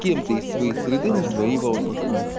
кем-то из своей среды на своей волне